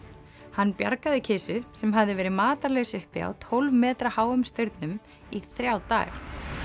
hann bjargaði kisu sem hafði verið matarlaus uppi á tólf metra háum staurnum í þrjá daga